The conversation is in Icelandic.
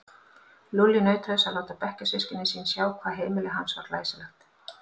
Lúlli naut þess að láta bekkjarsystkini sín sjá hvað heimili hans var glæsilegt.